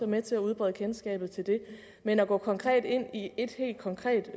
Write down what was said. med til at udbrede kendskabet til det men at gå konkret ind i et helt konkret